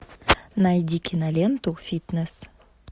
найди киноленту фитнес